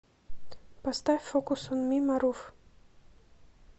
поставь фокус он ми марув